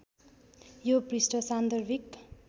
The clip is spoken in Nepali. यो पृष्ठ सान्दर्भिक